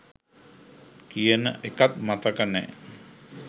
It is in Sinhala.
කියන එකත් මතක නෑ